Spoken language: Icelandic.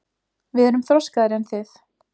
Við erum þroskaðri en þið.